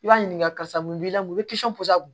I b'a ɲininka karisa mun b'i la mun i bi porozɛ